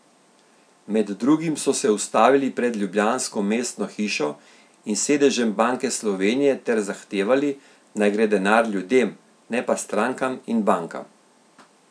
Med drugim so se ustavili pred ljubljansko mestno hišo in sedežem Banke Slovenije ter zahtevali, naj gre denar ljudem, ne pa strankam in bankam.